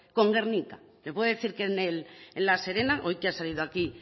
con gernika le puedo decir que en la serena hoy que ha salido aquí